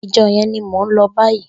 Ijò yèn ni mó n lò bàyí